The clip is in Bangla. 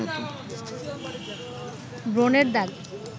ব্রণের দাগ